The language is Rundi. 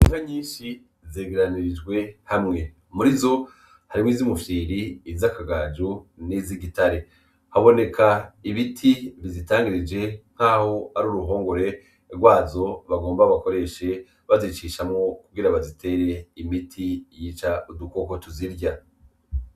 Ja nyinshi zegeranirijwe hamwe muri zo hariwo izo umufyiri izi akagaju neza igitare haboneka ibiti bizitangirije nk'aho ari uruhongore rwazo bagomba bakoreshe bazicishamwo kugira bazitere imiti yica udukoko tuzirya.